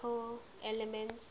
chemical elements